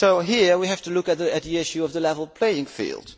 one. So here we have to look at the issue of the level playing field.